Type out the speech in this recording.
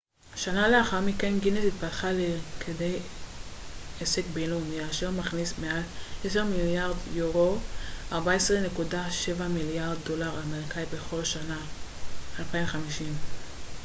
250 שנה לאחר מכן גינס התפתחה לכדי עסק בינלאומי אשר מכניס מעל 10 מיליארד יורו 14.7 מיליארד דולר אמריקאי בכל שנה